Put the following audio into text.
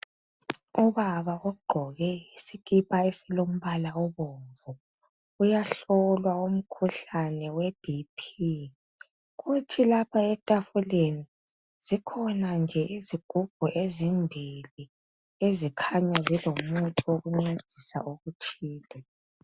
Ubaba ogqoke isikipa esilombala obomvu uyahlolwa umkhuhlane we BP kuthi lapha etafuleni zikhona nje izigubhu ezimbili ezikhanya zilomuthi wokuncedisa okuthile